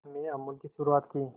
में अमूल की शुरुआत की